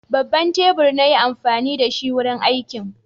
Babban tebur na yi amfani da shi wurin aikin.